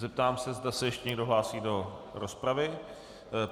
Zeptám se, zda se ještě někdo hlásí do rozpravy.